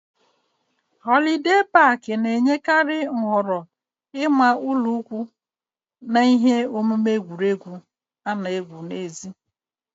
Họlidee pak na-enyekarị nhọrọ ịma ụlọikwuu na ihe omume egwuregwu ana égwu n'èzí